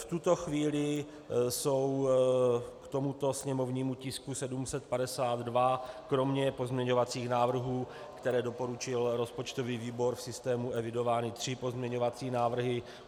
V tuto chvíli jsou k tomuto sněmovnímu tisku 752 kromě pozměňovacích návrhů, které doporučil rozpočtový výbor, v systému evidovány tři pozměňovací návrhy.